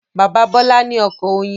Bàbá Bọ́là ní oko oyin.